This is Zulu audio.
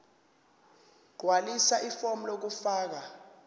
gqwalisa ifomu lokufaka